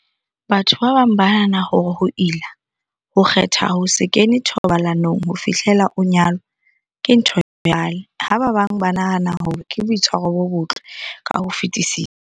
Batho ba bang ba nahana hore ho ila, ho kgetha ho se kene thobalanong ho fihlela o nyalwa, ke ntho ya kgale, ha ba bang ba nahana hore ke boitshwaro bo botle ka ho fetisisa.